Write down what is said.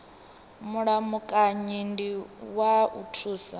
mulamukanyi ndi wa u thusa